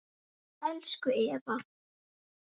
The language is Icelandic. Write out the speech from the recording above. Elsku Eva